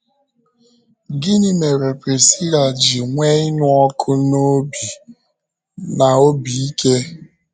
Gịnị mere Prisila ji nwee ịnụ ọkụ n’obi na obi ike?